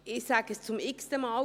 Ich sage es zum x-ten Mal: